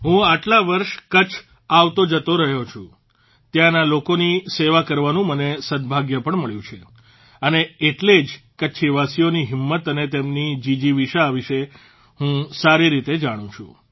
હું આટલા વર્ષ કચ્છ આવતો જતો રહ્યો છું ત્યાંના લોકોની સેવા કરવાનું મને સદભાગ્ય પણ મળ્યું છે અને એટલે જ કચ્છવાસીઓની હિંમત અને તેમની જીજીવિષા વિષે હું સારી રીતે જાણું છું